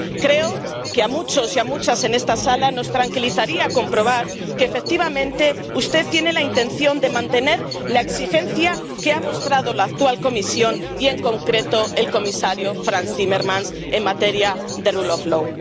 Creo que a muchos y a muchas en esta sala nos tranquilizaría comprobar que, efectivamente, usted tiene la intención de mantener la exigencia que ha mostrado la actual Comisión y, en concreto, el comisario Frans Timmermans en materia de rule of law